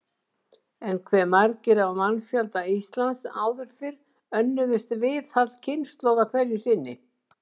En hve margir af mannfjölda Íslands áður fyrr önnuðust viðhald kynslóða hverju sinni?